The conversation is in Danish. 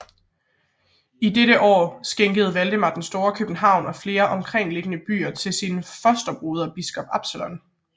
I dette år skænkede Valdemar den Store København og flere omkringliggende landsbyer til sin fosterbroder biskop Absalon